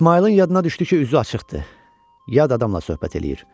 İsmayılın yadına düşdü ki, üzü açıqdır, yad adamla söhbət eləyir.